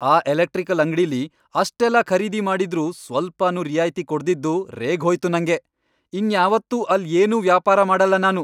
ಆ ಎಲೆಕ್ಟ್ರಿಕಲ್ ಅಂಗ್ಡಿಲಿ ಅಷ್ಟೆಲ್ಲ ಖರೀದಿ ಮಾಡಿದ್ರೂ ಸ್ವಲ್ಪನೂ ರಿಯಾಯ್ತಿ ಕೊಡ್ದಿದ್ದು ರೇಗ್ಹೋಯ್ತು ನಂಗೆ, ಇನ್ಯಾವತ್ತೂ ಅಲ್ಲ್ ಏನ್ನೂ ವ್ಯಾಪಾರ ಮಾಡಲ್ಲ ನಾನು.